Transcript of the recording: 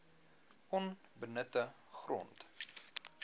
onbenutte grond